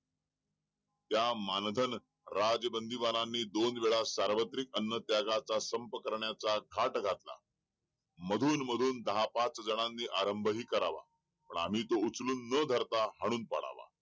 त्या मानधन राज्य बंदीवानांनी दोन वेळा सार्वत्रिक अन्न त्यागाचा संप करण्याचा थाट घातला मधून मधून दहा पाच जणांनी आरंभही करावा पण आम्ही तो उचलून न धरता हाणून पडावा